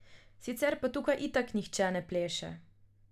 Sicer pa tukaj itak nihče ne pleše.